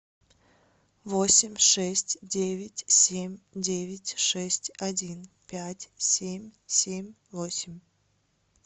восемь шесть девять семь девять шесть один пять семь семь восемь